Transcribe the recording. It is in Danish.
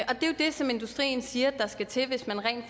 det som industrien siger skal til hvis man rent